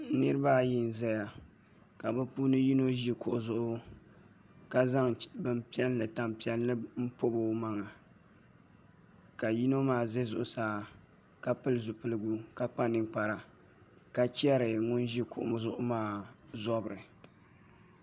Niraba ayi n ʒɛya ka bi puuni yino ʒi kuɣu zuɣu ka zaŋ tanpiɛlli n pobi o maŋa ka yino maa ʒɛ zuɣusaa ka pili zipiligu ka kpa ninkpara ka chɛri ŋun ʒi kuɣu zuɣu maa zobiri